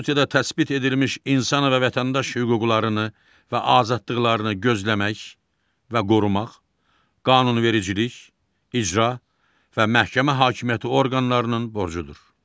Konstitusiyada təsbit edilmiş insan və vətəndaş hüquqlarını və azadlıqlarını gözləmək və qorumaq qanunvericilik, icra və məhkəmə hakimiyyəti orqanlarının borcudur.